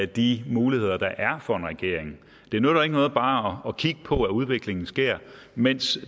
de muligheder der er for en regering det nytter ikke noget bare at kigge på at udviklingen sker mens